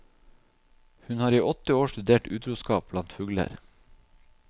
Hun har i åtte år studert utroskap blant fugler.